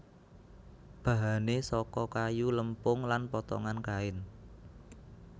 Bahane saka kayu lempung lan potongan kain